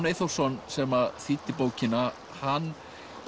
Eyþórsson sem þýddi bókina hann